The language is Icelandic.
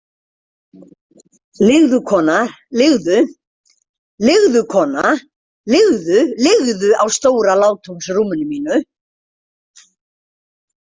Liggðu, kona, liggðu Liggðu, kona, liggðu- liggðu á stóra látúnsrúminu mínu.